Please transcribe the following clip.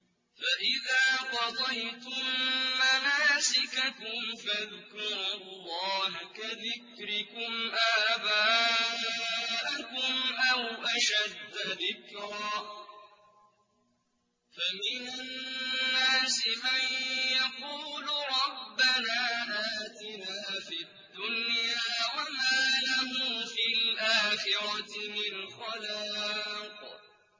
فَإِذَا قَضَيْتُم مَّنَاسِكَكُمْ فَاذْكُرُوا اللَّهَ كَذِكْرِكُمْ آبَاءَكُمْ أَوْ أَشَدَّ ذِكْرًا ۗ فَمِنَ النَّاسِ مَن يَقُولُ رَبَّنَا آتِنَا فِي الدُّنْيَا وَمَا لَهُ فِي الْآخِرَةِ مِنْ خَلَاقٍ